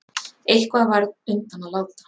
Eitthvað varð undan að láta